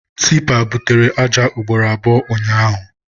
Tipa butere aja ugboro abụọ ụnyaahụ.